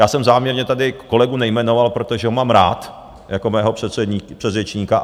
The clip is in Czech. Já jsem záměrně tady kolegu nejmenoval, protože ho mám rád, jako mého předřečníka.